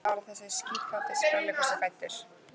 En hvaða ár er þessi síkáti sprelligosi fæddur?